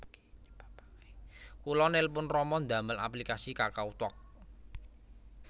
Kula nelpon rama ndamel aplikasi KakaoTalk